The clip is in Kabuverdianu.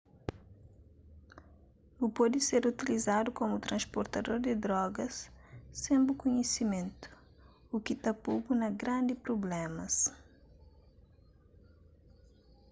bu pode ser utilizadu komu transportador di drogas sen bu kunhisimentu u ki ta po-bu na grandi prublémas